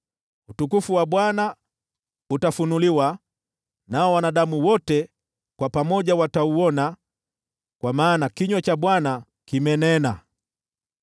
Utukufu wa Bwana utafunuliwa, nao wanadamu wote watauona pamoja. Kwa maana kinywa cha Bwana kimenena.”